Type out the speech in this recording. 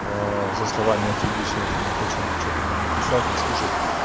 со словами отъебись я там не хочу ничего там ни писать ни слушать